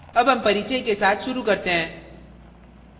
अब हम परिचय के साथ शुरू करते हैं